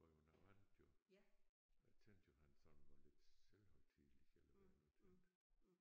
Var jo noget andet jo. Jeg tænkte jo han sådan var lidt selvhøjtidelig eller hvad jeg nu tænkte